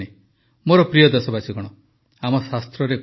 ମୋର ପ୍ରିୟ ଦେଶବାସୀଗଣ ଆମ ଶାସ୍ତ୍ରରେ କୁହାଯାଇଛି